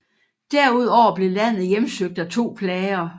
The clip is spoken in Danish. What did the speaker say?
Derudover blev landet hjemsøgt af to plager